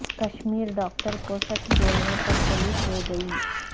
Kashmiri doctor کو سچ بولنے پر پولیس لے گئی